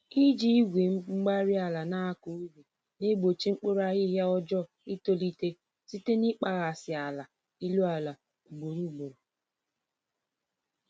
Iji Igwe-mgbárí-ala nakọ ubi na-egbochi mkpụrụ ahihia ọjọọ itolite site na ịkpaghasị ala elu àlà ugboro ugboro